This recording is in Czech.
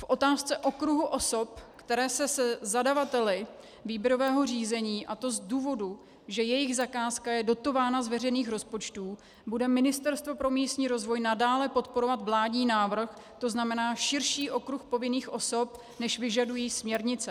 V otázce okruhu osob, které se se zadavateli výběrového řízení, a to z důvodu, že jejich zakázka je dotována z veřejných rozpočtů, bude Ministerstvo pro místní rozvoj nadále podporovat vládní návrh, to znamená širší okruh povinných osob, než vyžadují směrnice.